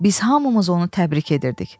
Biz hamımız onu təbrik edirdik.